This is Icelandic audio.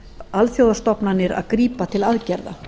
alþjóðastofnanir að grípa til aðgerða